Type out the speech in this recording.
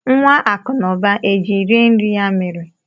Nwa Akụ na ụba e ji rie nri ya mere?